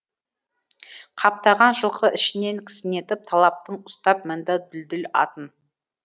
қаптаған жылқы ішінен кісінетіп талаптың ұстап мінді дүлдүл атын